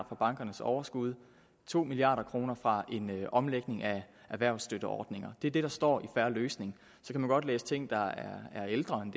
fra bankernes overskud og to milliard kroner fra en omlægning af erhvervsstøtteordninger det er det der står i en fair løsning så kan man godt læse ting der er ældre end